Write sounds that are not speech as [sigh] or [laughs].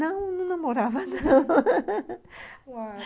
Não, não namorava, não [laughs]